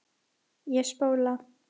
Ég spóla.